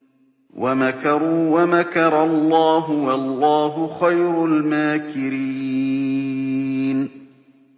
وَمَكَرُوا وَمَكَرَ اللَّهُ ۖ وَاللَّهُ خَيْرُ الْمَاكِرِينَ